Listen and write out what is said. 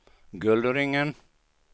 Gullringen